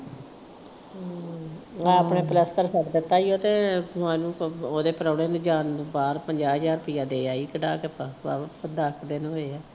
ਹਮ ਨਾ ਆਪਣੇ ਪਲੱਸਤਰ ਛੱਡ ਦਿੱਤਾ ਉਹਤੇ ਉਹਦੇ ਪ੍ਰਾਹਣੇ ਦੇ ਜਾਣ ਨੂੰ ਬਾਹਰ ਪੰਜਾਹ ਹਜ਼ਾਰ ਰੁਪਈਆ ਦੇ ਆਈ ਕੱਢਾ ਕੇ ਦੱਸ ਦਿਨ ਹੋਏ ਆ।